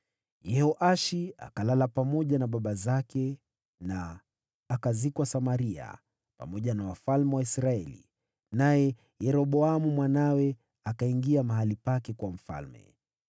Yehoashi akalala pamoja na baba zake, akazikwa Samaria pamoja na wafalme wa Israeli, naye Yeroboamu mwanawe akawa mfalme baada yake.